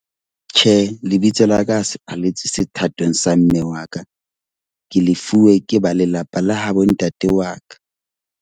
Tjhe, lebitso la ka se paletswe. sethatong sa mme wa ka. Ke lefuwe ke ba lelapa la habo ntate wa ka.